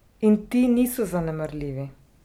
In ti niso zanemarljivi.